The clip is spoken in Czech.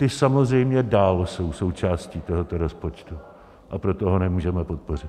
Ty samozřejmě dále jsou součástí tohoto rozpočtu, a proto ho nemůžeme podpořit.